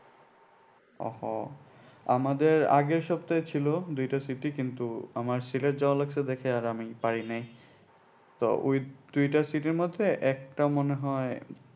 ও আমাদের আগের সপ্তাহে ছিল দুইটা কিন্তু আমার সিলেট যাওয়া লাগছে দেখে আর আমি পারি নাই তো ওই দুইটা মধ্যে একটা মনে হয়